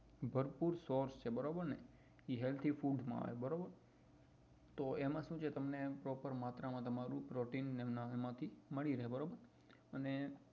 ભરપૂર source છે બરોબર ને એ healthy food માં આવે બરોબર તો એમાં શું છે proper માત્ર માં પ્રોટીન મળી રહે બરોબર અને